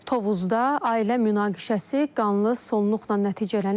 Tovuzda ailə münaqişəsi qanlı sonluqla nəticələnib.